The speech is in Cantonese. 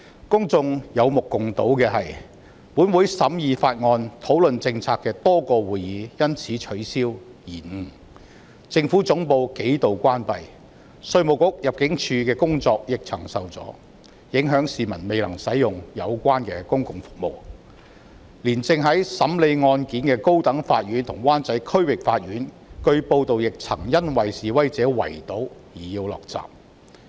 公眾有目共睹的是：本會多個審議法案及討論政策的會議因而取消或延誤；政府總部數度關閉，稅務局及入境事務處的工作亦曾受阻，影響市民未能使用有關的公共服務；就連正在審理案件的高等法院及灣仔區域法院，據報亦曾因示威者圍堵而要降下捲閘。